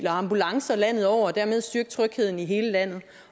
ambulancer landet over og dermed styrke trygheden i hele landet